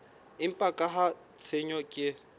empa ka ha tshenyo ke